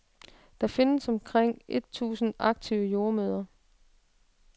Der findes omkring et tusind aktive jordemødre.